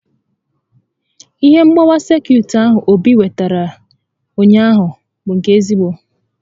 Ihe mgbawa sekit ahụ Obi wetara ụnyaahụ bụ nke ezigbo